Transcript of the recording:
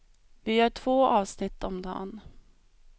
Vi gör två avsnitt om dan.